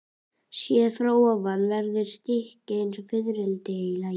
Séð ofan frá verður stykkið eins og fiðrildi í laginu.